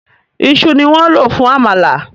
Ìṣù ni wọ́n lò fún àmàlà